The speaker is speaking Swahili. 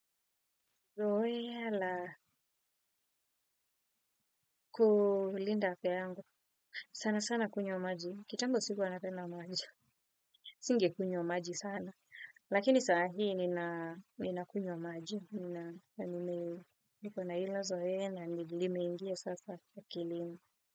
Zoea la kulinda afya yangu. Sana sana kunywa maji. Kitambo sikuwa napenda maji. Singekunywa maji sana. Lakini saa hii ninakunywa maji. Nina na nime niko na ilo zoea na lilimeingia sasa akilini.